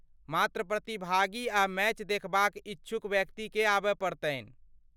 मात्र प्रतिभागी आ मैच देखबाक इच्छुक व्यक्तिकेँ आबय पड़तनि।